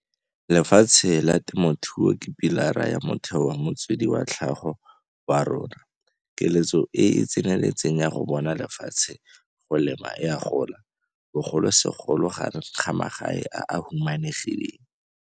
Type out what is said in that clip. Lefatshe la temothuo ke pi lara ya motheo wa motswedi wa tlhago wa rona. Keletso e e tseneletseng ya go bona lefatshe go lema e a gola, bogolosegolo gareng ga magae a a humanegileng.